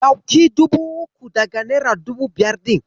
Ɗauki dubu uku daga nera dubu biyar ɗin.